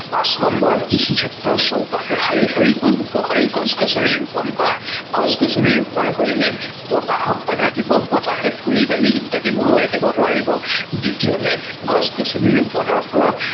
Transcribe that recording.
পাচ নম্বৰ কৃষি ক্ষেত্ৰৰ চৌপাশে শাৰী শাৰীকৈ উপশাৰী গছ-গছনি ৰুপন কৰা, গছ-গছনি ৰুপন কৰিলে বতাহক বাধা দিব বহাতে ধূলি বালি ইত্যাদি উৰোৱাই নিব নোৱাৰিব, দ্বিতীয়তে গছ-গছনি ৰুপনৰ ফলত